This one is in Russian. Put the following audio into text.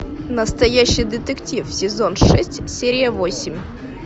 настоящий детектив сезон шесть серия восемь